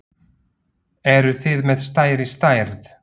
Eruð þið með stærri stærð?